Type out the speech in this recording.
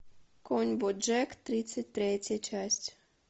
конь боджек тридцать третья часть